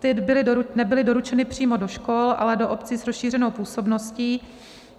Ty nebyly doručeny přímo do škol, ale do obcí s rozšířenou působností.